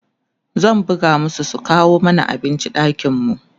zan buga masu su kawo mana abinci ɗakin mu